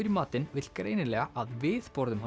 í matinn vill greinilega að við borðum